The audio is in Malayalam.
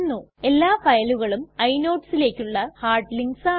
എല്ലാ ഫയലുകളും inodesലേക്കുള്ള ഹാർഡ് ലിങ്ക്സ് ആണ്